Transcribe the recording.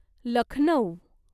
Lucknow